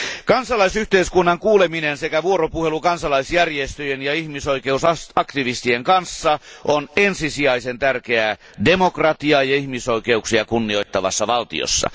Kansalaisyhteiskunnan kuuleminen sekä vuoropuhelu kansalaisjärjestöjen ja ihmisoikeusaktivistien kanssa on ensisijaisen tärkeää demokratiaa ja ihmisoikeuksia kunnioittavassa valtiossa.